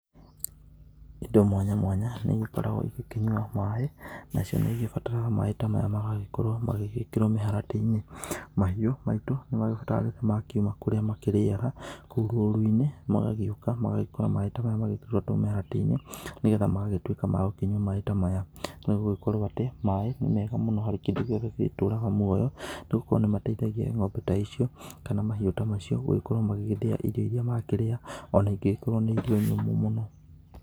Indo mwanya mwanya nĩ igĩkoragwo igĩkĩnyua maaĩ nacio nĩ ĩgĩbataraga maai ta maya magagĩkorwo magĩgĩkĩrwo mĩharatĩ-inĩ. Mahiũ maitũ nĩ magĩbataraga rĩrĩa makiuma kũrĩa marĩaga kũu rũru-inĩ magagĩgĩũka magagĩkora maaĩ ta maya magĩkĩrĩtwo mĩharatĩ-inĩ. Nĩ getha magagĩtuĩka ma gũkĩkũnyua maaĩ ta maya. Nĩ gũgĩkorwo atĩ maaĩ nĩ mega mũno harĩ kĩndũ gĩothe gĩtũraga muoyo, nĩ gũkorwo nĩ mateithagia ng'ombe ta icio kana mahiũ ta macio gũgĩkorwo magĩgĩthĩa irio iria makĩrĩa ona ingĩgĩkorwo nĩ irio nyũmũ mũno.